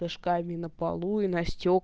крышками на полу и на стек